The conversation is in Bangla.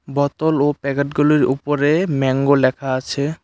বতল ও প্যাকেটগুলির উপরে ম্যাংগো লেখা আছে।